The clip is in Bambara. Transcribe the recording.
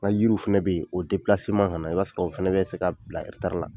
N ka yiriw fɛnɛ bɛ ye o ka na i b'a sɔrɔ o fɛnɛ bɛ se ka bila la.